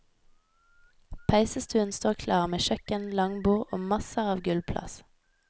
Peisestuen står klar med kjøkken, langbord og masser av gulvplass.